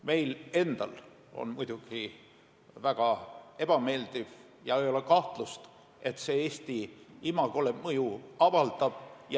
Meil endal on muidugi väga ebameeldiv ja ei ole kahtlust, et see Eesti imagole mõju avaldab.